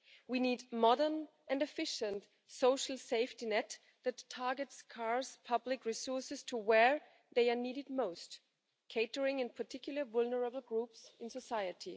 We need a modern and efficient social safety net that targets public resources to where they are needed most, catering in particular for vulnerable groups in society.